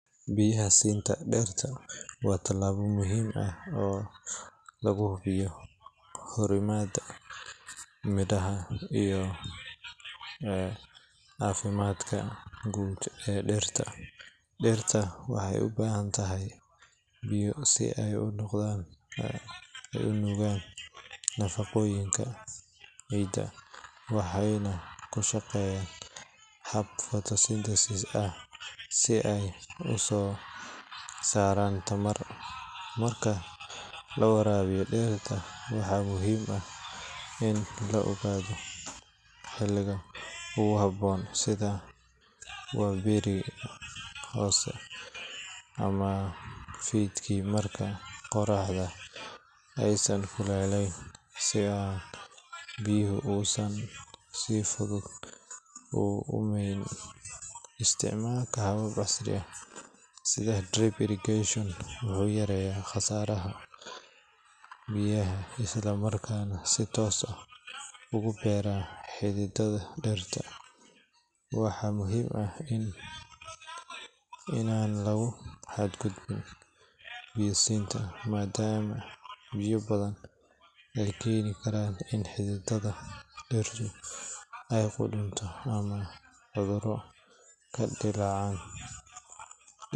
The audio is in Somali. Biyaha siinta dhirta waa tallaabo muhiim ah oo lagu hubiyo korriimada, midhaha iyo caafimaadka guud ee dhirta. Dhirta waxay u baahan tahay biyo si ay u nuugaan nafaqooyinka ciidda, waxayna ku shaqeeyaan hab photosynthesis ah si ay u soo saaraan tamar. Marka la waraabiyo dhirta, waxaa muhiim ah in la ogaado xilliga ugu habboon, sida waaberiga hore ama fiidkii marka qorraxda aysan kululayn si aan biyaha uusan si fudud u uumeyn. Isticmaalka habab casri ah sida drip irrigation wuxuu yareeyaa khasaaraha biyaha isla markaana si toos ah ugu beera xididdada dhirta. Waxaa muhiim ah in aanan lagu xadgudbin biyo siinta, maadaama biyo badani ay keeni karaan in xididdada dhirtu ay qudhunto ama cudurro ka dillaacaan.